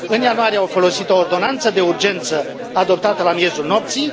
În ianuarie au folosit o ordonanță de urgență adoptată la miezul nopții.